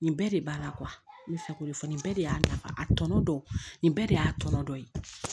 Nin bɛɛ de b'a la n bɛ fɛ k'o de fɔ nin bɛɛ de y'a nafa a tɔnɔ dɔn nin bɛɛ de y'a tɔnɔ dɔn